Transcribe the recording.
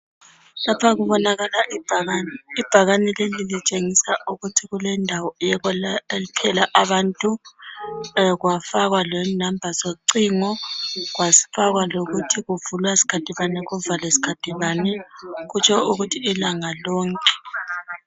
Lapha kubonakala ibhakane ibhakane leli litshengisa ukuthi kule ndawo uyokwelaphela abantu. Kwafakwa lenumba zocingo kwafakwa lokuthi kuvulwa sikhathi bani kuvalwe sikhathi bani kutsho ukuthi ilanga lonke.